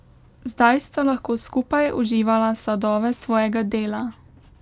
Zdaj sta lahko skupaj uživala sadove svojega dela.